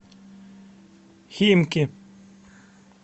химки